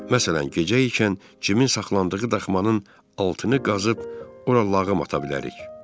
Məsələn, gecə ikən cimin saxlandığı daxmanın altını qazıb, ora lağım ata bilərik.